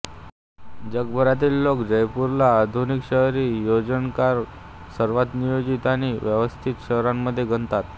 जगभरातील लोक जयपूरला आधुनिक शहरी योजनाकार सर्वात नियोजित आणि व्यवस्थित शहरांमध्ये गणतात